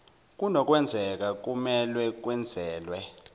kunokwenzeka kumelwe kwenezelwe